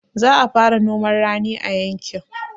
Za a fara noman rani a yankin